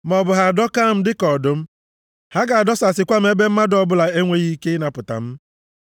ma ọ bụ ha adọkaa m dịka ọdụm, ha ga-adọsasịkwa m ebe mmadụ ọbụla enweghị ike ịnapụta m.